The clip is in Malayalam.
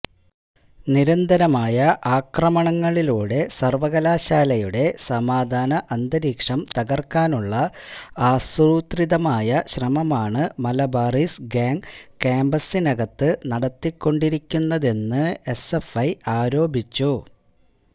നിരന്തരമായ അക്രമണങ്ങളിലൂടെ സർവ്വകലാശാലയുടെ സമാധാന അന്തരീക്ഷം തകർക്കാനുള്ള ആസൂത്രിതമായ ശ്രമമാണ് മലബാറിസ് ഗ്യാങ് ക്യാമ്പസിനകത്ത് നടത്തിക്കൊണ്ടിരിക്കുന്നതെന്ന് എസ്എഫ്ഐ ആരോപിച്ചു